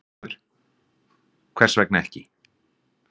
Fréttamaður: Hvers vegna ekki?